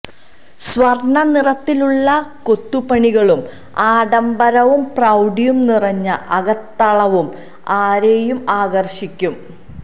സ്വര്ണ്ണ നിറത്തിലുള്ള കൊത്തുപണികളും ആഡംബരവും പ്രൌഡിയും നിറഞ്ഞ അകത്തളവും ആരെയും ആകര്ഷിക്കും